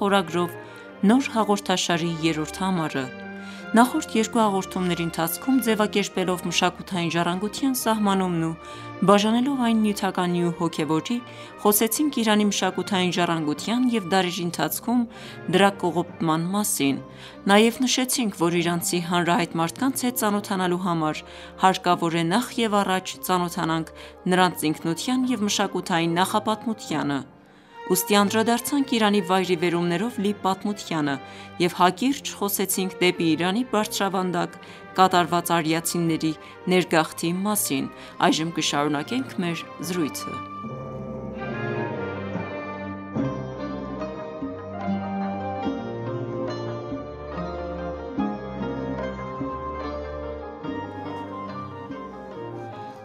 խորագրով նոր հաղորդաշարի երրորդ համարը։ Նախորդ երկու հաղորդումների ընթացքում ձևակերպելով մշակութային ժառանգության սահմանումն ու բաժանելով այն նյութականի ու հոգևորի, խոսեցինք Իրանի մշակութային ժառանգության և դարերի ընթացքում դրա կողպտման մասին։ Նաև նշեցինք, որ իրանցի հանրահայտ մարդկանց հետ ծանոթանալու համար հարկավոր է, նախ և առաջ, ծանոթանանք նրանց ինքնության և մշակութային նախապատմության հետ։ Ուստի, անդրդարձ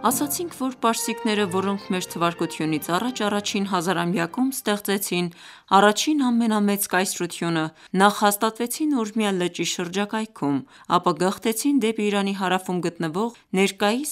Ասացինք, որ պարսիկները, որոնք Մթա առաջին հազարամյակում ստեղծեցին առաջին ամենամեծ կայսրությունը, նախ հաստատվեցին Ուրմիա լճի շրջակայքում, ապա գաղթեցին դեպի Իրանի հարավում գտնվող ներկայիս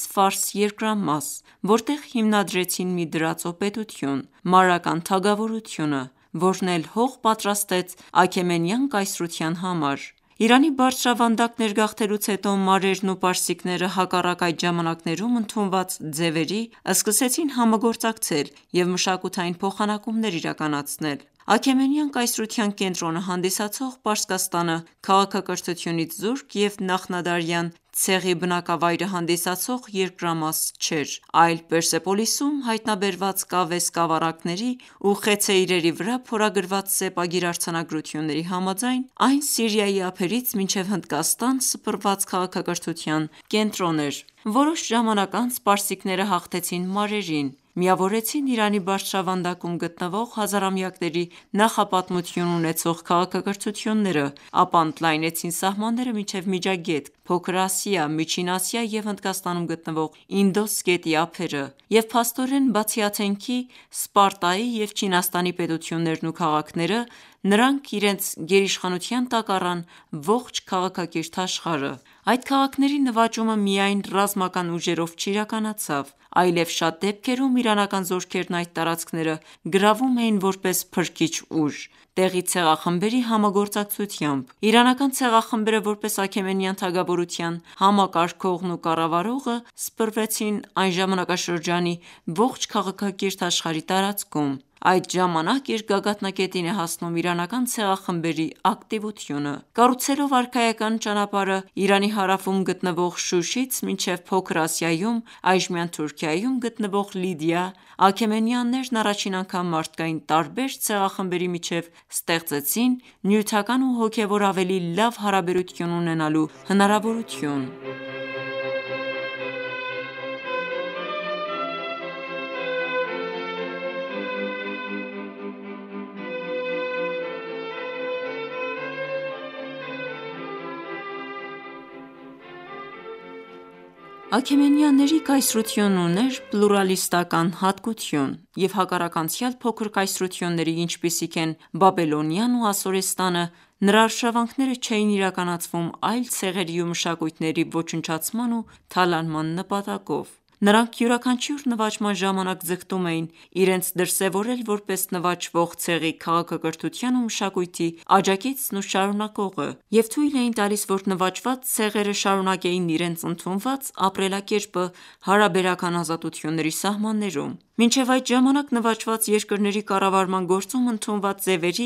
երկրամաս, որտեղ հիմնադրեցին մի դրածո պետություն՝ Մարական թագավորությունը, որն էլ հող պատրաստեց Աքեմենյան կայսրության համար։ Իրանի բարձրավանդակ ներգաղթելուց հետո մարերն ու պարսիկները հակառակ այդ ժամանակներում ընդունված ձևերի, սկսեցին համագործակցել և մշակութային փոխանակումներ իրականացնել։ Աքեմենյան կայսրության կենտրոնը հանդիսացող Պարսկաստանը քաղաքակրթությունից զուրկ և նախնադարյան ցեղի բնակավայրը հանդիսացող երկրամաս չէր, այլ Պերսեպոլիսում հայտնաբերված կավե սկավառակների ու խեցե իրերի վրա փորագրված սեպագիր արձանագրությունների համաձայն, այն Սիրիայի ափերից մինչև Հնդկաստանը սփռված քաղաքակրթության կենտրոնն էր։ Որոշ ժամանակ անց պարսիկները հաղթեցին մարերին, միավորեցին Իրանի բարձրավանդակում գտնվող, հազարամյակների նախապատմություն ունեցող քաղաքակրթությունները, ապա ընդլայնեցին սահմանները մինչև Միջագետք, Փոքր Ասիա, Միջին Ասիա և Հնդկաստանում գտնվող Ինդոս գետի ափերը, և փաստորեն, բացի Աթենքի, Սպարտայի և Չինաստանի պետություններն ու քաղաքները, նրանք իրենց գերիշխանության տակ առան ողջ քաղաքակիրթ աշխարհը։ Այդ քաղաքների նվաճումը միայն ռազմական ուժերով չիրականացավ, այլև շատ դեպքերում իրանական զորքերն այդ տարածքները գրավում էին որպես փրկիչ ուժ՝ տեղի ցեղախմբերի համագործակցությամբ։ Իրանական ցեղախմբերը, որպես Աքեմենյան թագավորության համակարգողն ու կառավարողը, սփռվեցին այն ժամանակաշրջանի ողջ քաղաքակիրթ աշխարհի տարածքում։ Այդ ժամանակ իր գագաթնակետին է հասնում իրանական ցեղախմբերի ակտիվությունը։ Կառուցելով արքայական ճանապարհը Իրանի հարվում գտնվող Շուշից մինչև Փոքր Ասիայում (այժմյան Թուրքիայում) գտնվող Լիդիա, աքեմենյաններն առաջին անգամ մարդկային տարբեր ցեղախմբերի միջև ստեղծեցին նյութական ու հոգևոր ավելի լավ հարաբերություն ունենալու հնարավորություն։ Աքեմենյանների կայսրությունն ուներ պլուրալիստական հատկություն և հակառակ անցյալ փոքր կայսրությունների, ինչպիսիք են Բաբելոնիան ու Ասորստանը, նրա արշավանքները չէին իրականացվում այլ ցեղերի ու մշակույթների ոչնչացման ու թալանման նպատակով։ Նրանք յուրաքանչյուր նվաճման ժամանակ ձգտում էին իրենց դրսևորել որպես նվաճվող ցեղի քաղաքակրթության ու մշակույթի աջակիցն ու շարունակողը և թույլ էին տալիս, որ նվաճված ցեղերը շարունակեին իրենց ընդունված ապրելակերպը հարաբերական ազատությունների սահմաններում։ Մինչև այդ ժամանակ նվաճված երկրների կառավարման գործում ընդունված ձևերի՝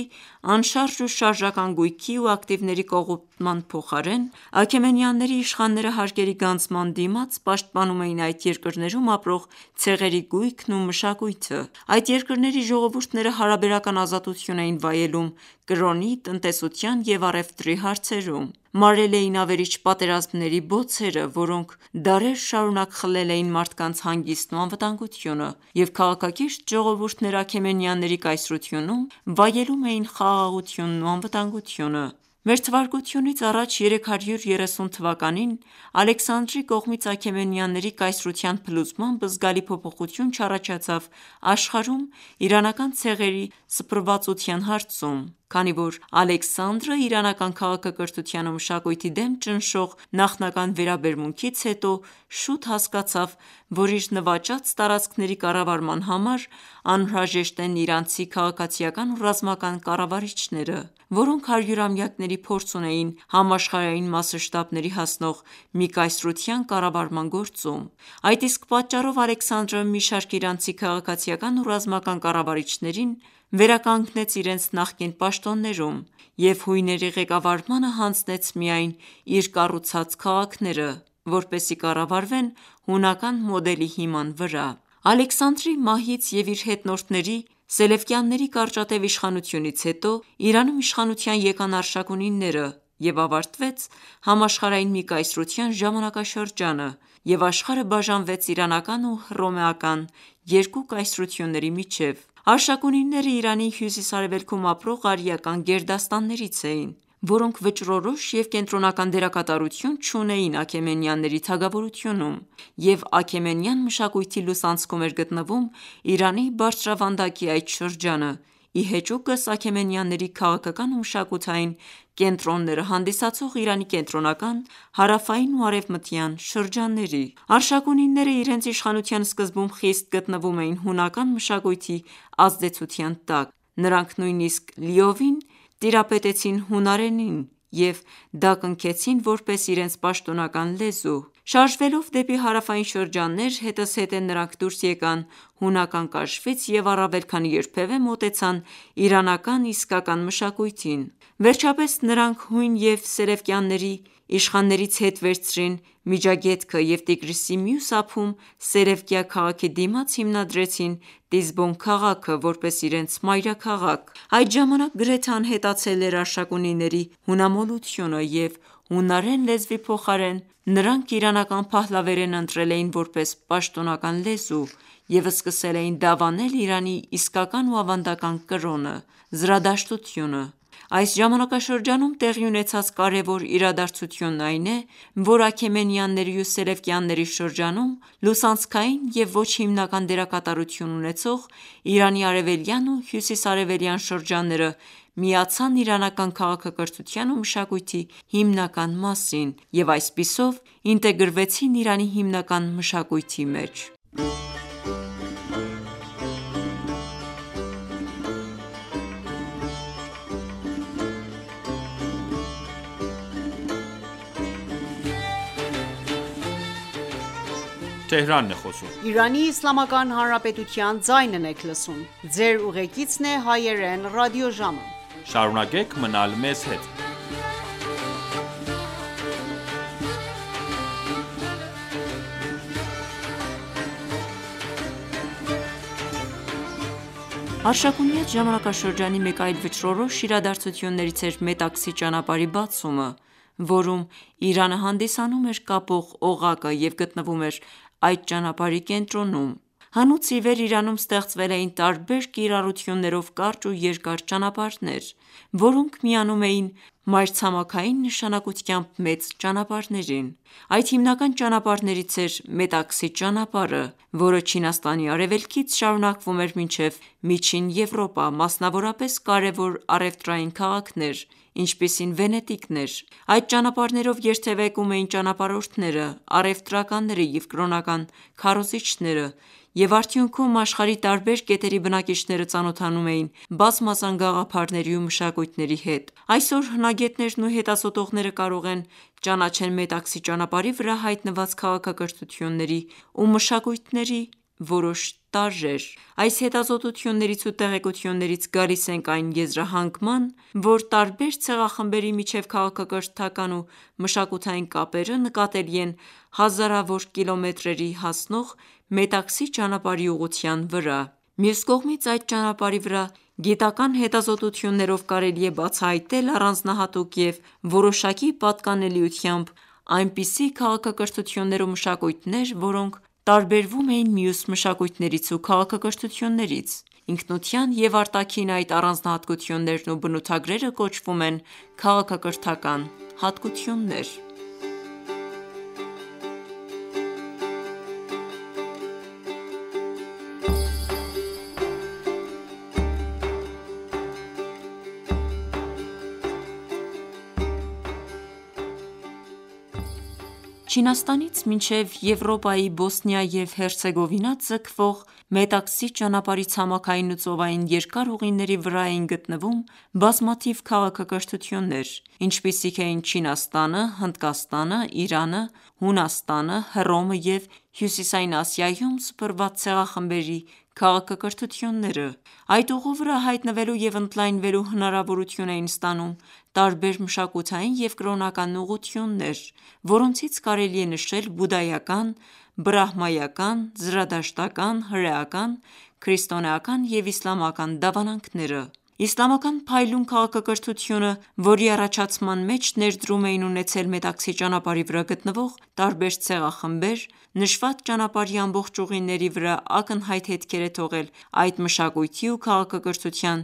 անշարժ ու շարժական գույքի ու ակտիվների կողոպտման փոխարեն, աքեմենյանների իշխանները հարկերի գանձման դիմաց պաշտպանում էին այդ երկրներում ապրող ցեղերի գույքն ու մշակույթը։ Այդ երկրների ժողովուրդները հարաբերական ազատություն էին վայելում կրոնի, տնտեսության և առևտրի հարցերում։ Մարել էին ավերիչ պատերազմները, որոնք դարեր շարունակ խլել էին մարդկանց հանգիստն ու անվտանգությունը և քաղաքակիրթ ժողովուրդները աքեմենյանների կայսրությունում վայելում էին խաղաղությունն ու անվտանգությունը։ Մթա 330 թվականին Ալեքսանդրի կողմից Աքեմենյանների կայսրության փլուզմամբ զգալի փոփոխություն չառաջացավ աշխարհում իրանական ցեղերի սփռվածության հարցում, քանի որ Ալեքսանդրը իրանական քաղաքակրթության ու մշակույթի դեմ ճնշող նախնական վերաբերմունքից հետո շուտ հասկացավ, որ իր նվաճած տարածքների կառավարման համար անհրաժեշտ են իրանցի քաղաքացիական ու ռազմական կառավարիչները, որոնք հարյուրամյակների փորձ ունեին համաշխարհային մասշտաբների հասնող մի կայսրության կառավարման գործում։ Այդ իսկ պատճառով Ալեքսանդրը մի շարք իրանցի քաղաքացիական ու ռազմական կառավարիչներին վերականգնեց իրենց նախկին պաշտոններում և հույնների ղեկավարմանը հանձնեց միայն իր կառուցած քաղաքները, որպեսզի կառավարվեն հունական մոդելի հիման վրա։ Ալեքսանդրի մահից և իր հետնորդների՝ Սելևկյանների կարճատև իշխանությունից հետո, Իրանում իշխանության եկան Պարթևները և ավարտվեց համաշխարհային մի կայսրության ժամանակաշրջանը և աշխարհը բաժանվեց իրանական ու հռոմեական երկու կայսրությունների միջև։ Պարթևները Իրանի հյուսիսարևելքում ապրող արիական գերդաստաններից էին, որոնք վճռորոշ և կենտրոնական դերակատարություն չունեին Աքեմենյանների թագավորությունում, և աքեմենական մշակույթի լուսանցքում էր գտնվում Իրանի բարձրավանդակի այդ շրջանը ի հեճուկս Աքեմենյանների քաղաքական ու մշակութային կենտրոնները հանդիսացող Իրանի կենտրոնական, հարավային ու արևմտյան շրջանների։ Պարթևները իրենց իշխանության սկզբում խիստ գտնվում էին հունական մշակույթի ազդեցության տակ և նույնիսկ լիովին ծանոթացան հունարենի հետ և դա կնքեցին որպես իրենց պաշտոնական լեզու։ Շարժվելով դեպի հարավային հետզհետե նրանք դուրս եկան հունական կաշվից և առավել քան երբևէ մոտեցան իրանական իսկական մշակույթին։ Վերջապես նրանք հույն և սելևկյանների իշխաններից հետ վերցրին Միջագետքը և Տիգրիսի մյուս ափում՝ Սելևկիա քաղաքի դիմաց հիմնադրեցին Տիզբոն քաղաքը որպես իրենց մայրաքաղաք։ Այդ ժամանակ գրեթե անհետացել էր պարթևների հունամոլությունը և հունարեն լեզվի փոխարեն, նրանք իրանական Փահլավերենը ընտրել էին որպես պաշտոնական լեզու և սկսել էին դավանել Իրանի իսկական ու ավանդական կրոնը՝ զրադաշտությունը։ Այս ժամանակաշրջանում տեղի ունեցած կարևոր իրադարձությունն այն է, որ Աքեմենյանների ու Սելևկյանների շրջանում լուսանցքային և ոչ հիմնական դերակատարություն ունեցող՝ Իրանի արևելյան ու հյուսիս-արևելյան շրջանները միացան իրանական քաղաքակրթության ու մշակույթի հիմնական մասին և այսպիսով ինտեգրվեցին Իրանի հիմնական մշակույթի մեջ։ Պարթևական ժամանակաշրջանի մեկ այլ վճռորոշ իրադարձություններից էր Մետաքսե ճանապարհի բացումը, որում Իրանը հանդիսանում էր կապող օղակը և գտնվում էր այդ ճանապարհի կենտրոնում։ Հնուց ի վեր Իրանում ստեղծվել էին տարբեր կիրառություններով կարճ ու երկար ճանապարհներ, որոնք միանում էին մայրցամաքային նշանակությամբ մեծ ճանապարհներին։ Այդ հիմնական ճանապարհներից էր Մետաքսե ճանապարհը, որը Չինաստանի Արևելքից շարունակվում էր մինչև միջին Եվրոպա, մասնավորապես կարևոր առևտրային քաղաքներ, ինչպիսին Վենետիկն էր։ Այդ ճանապարհներով երթևեկում էին ճանապարհորդները, առևտրականները և կրոնական քարոզինչներ և արդյունքում աշխարհի տարբեր կետերի բնակիչները ծանոթանում էին բազմազան գաղափարների ու մշակույթների հետ։ Այսօր հնագետներն ու հետազոտողները կարող են ճանաչեն Մետաքսե ճանապարհի վրա հայտնված քաղաքակրթությունների ու մշակույթների որոշ տարրեր։ Այս հետազոտություններից ու տեղեկություններից գալիս ենք այն եզրահանգման, որ տարբեր ցեղախմբերի միջև քաղաքակրթական ու մշակութային կապերը նկատելի են հազարավոր կիլոմետրերի հասնող Մետաքսե ճանապարհի ուղղության վրա։ Մյուս կողմից այդ ճանապարհի վրա գիտական հետազոտություններով կարելի է բացահայտել առանձնահատուկ և որոշակի պատկանելիությամբ այնպիսի քաղաքակրթություններ ու մշակույթներ, որոնք տարբերվում էին մյուս մշակույթներից ու քաղաքակրթություններից։ Ինքնության և արտաքին այդ առանձնահատկություններն ու բնութագրերը կոչվում են «քաղաքակրթական հատկություններ»։ Չինաստանից մինչև Եվրոպայի Բոսնիա և Հերցեգովինա ձգվող Մետաքսե ճանապարհի ցամաքային ու ծովային երկար ուղիների վրա էին գտնվում բազմաթիվ քաղաքակրթություններ, ինչպիսիք էին Չինաստանը, Հնդկաստանը, Իրանը, Հունաստանը, Հռոմը և հյուսիսային Ասիայում սփռված ցեղախմբերի քաղաքակրթությունները։ Այդ ուղու վրա հայտնվելու և ընդլայնվելու հնարավորություն էին ստանում տարբեր մշակութային և կրոնական ուղղություններ, որոնցից կարելի է նշել բուդայական, բրահմայական, զրադաշտական, հրեական, քրիստոնեական և իսլամական դավանանքները։ Իսլամական փայլուն քաղաքակրթությունը, որի առաջացման մեջ ներդրում էին ունեցել Մետաքսե ճանապարհի վրա գտնվող տարբեր ցեղախմբեր, նշված ճանապարհի ամբողջ ուղիների վրա ակնհայտ հետքեր է թողել այդ մշակույթի ու քաղաքակրթության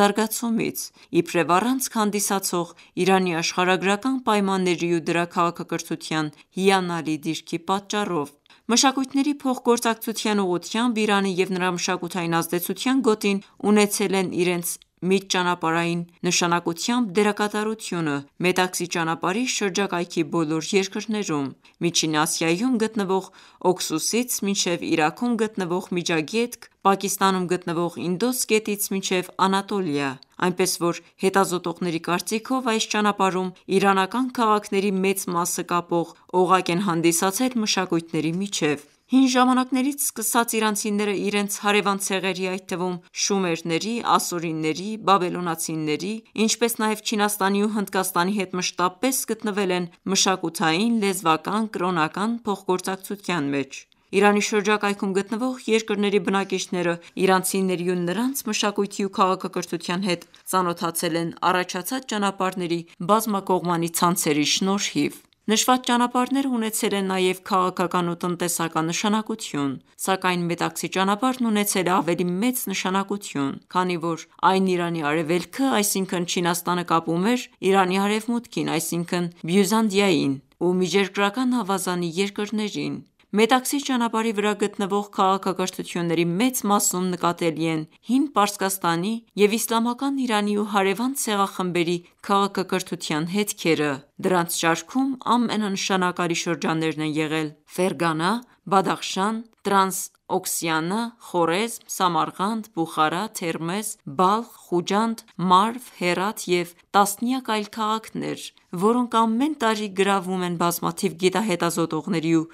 զարգացումից՝ իբրև առանցք հանդիսացող Իրանի աշխարհագրական պայմանների ու դրա քաղաքակրթության հիանալի դիրքի պատճառով։ Մշակությների փոխգործակցության ուղղությամբ Իրանը և նրա մշակութային ազդեցության գոտին ունեցել են իրենց միջճանապարհային նշանակությամբ դերակատարությունը Մետաքսե ճանապարհի շրջակայքի բոլոր երկրներում՝ Միջին Ասիայում գտնվող Օքսուսից մինչև Իրաքում գտնվող Միջագետք, Պակիստանում գտնվող Ինդոս գետից մինչև Անատոլիա, այնպես որ հետազոտողների կարծիքով, այս ճանապարհում իրանական քաղաքների մեծ մասը կապող օղակ են հանդիսացել մշակույթների միջև։ Հին ժամանակներից սկսած իրանցիները իրենց հարևան ցեղերի, այդ թվում՝շումերների, ասորիների, բաբելոնացիների, ինչպես նաև Չինաստանի ու Հնդկաստանի հետ մշտապես գտնվել են մշակութային, լեզվական, կրոնական փոխգործակցության մեջ։ Իրանի շրջակայքում գտնվող երկրների բնակիչները իրանցիների ու նրանց մշակույթի ու քաղաքակրթության հետ ծանոթացել են առաջացած ճանապարհների բազմակողմանի ցանցերի շնորհիվ։ Նշված ճանապարհները ունեցել են նաև քաղաքական ու տնտեսական նշանակություն, սակայն Մետաքսե ճանապարհն ունեցել է ավելի մեծ նշանակություն, քանի որ այն Իրանի արևելքը, այսինքն Չինաստանը կապում էր Իրանի արևմուտքին, այսինքն՝ Բյուզանդիային ու միջերկրական ավազանի երկրներին։ Մետաքսե ճանապարհի վրա գտնվող քաղաքակրթությունների մեծ մասում նկատելի են հին Պարսկաստանի և իսլամական Իրանի ու հարևան ցեղախմբերի քաղաքակրթության հետքերը։ Դրանց շարքում ամենանշանակալի շրջաններն են եղել Ֆերգանա, Բադախշան, Տրանսօքսիանա, Խորեզմ, Սամարքանդ, Բուխարա, Թերմեզ, Բալխ, Խուջանդ, Մարվ, Հերաթ և տասնյակ այլ քաղաքները, որոնք ամեն տարի գրավում են բազմաթիվ գիտահետազոտողների ու